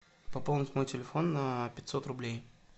пополнить мой телефон на пятьсот рублей